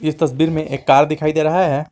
इस तस्वीर में एक कार दिखाई दे रहा है।